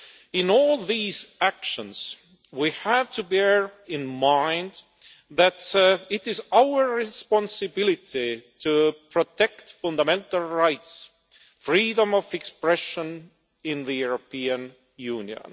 In all these actions we have to bear in mind that it is our responsibility to protect fundamental rights and freedom of expression in the European Union.